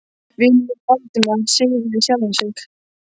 Vinur minn Valdimar, sagði ég við sjálfan mig.